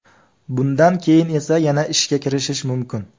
Bundan keyin esa yana ishga kirishish mumkin.